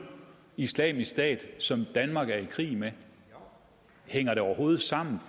islamisk stat som danmark er i krig med hænger det overhovedet sammen